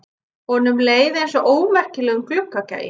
Honum leið einsog ómerkilegum gluggagægi.